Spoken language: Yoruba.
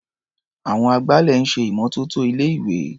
Àwọn agbálẹ̀ ń ṣè ìmọ́tótó ilé-ìwé.